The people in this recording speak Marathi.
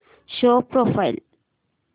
show profile